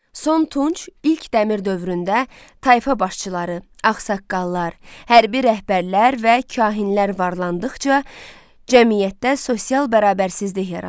Son Tunc, ilk Dəmir dövründə tayfa başçıları, ağsaqqallar, hərbi rəhbərlər və kahinlər varlandıqca, cəmiyyətdə sosial bərabərsizlik yarandı.